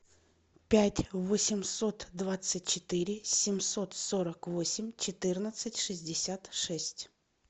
пять восемьсот двадцать четыре семьсот сорок восемь четырнадцать шестьдесят шесть